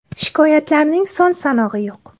Shikoyatlarning son-sanog‘i yo‘q.